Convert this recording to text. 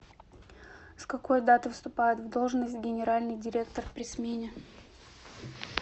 с какой даты вступает в должность генеральный директор при смене